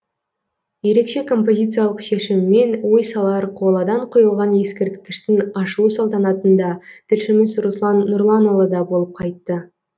ерекше композициялық шешімімен ой салар қоладан құйылған ескерткіштің ашылу салтанатында тілшіміз руслан нұрланұлы да болып қайтты